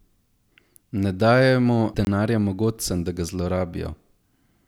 Ne dajajmo denarja mogotcem, da ga zlorabijo!